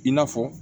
I n'a fɔ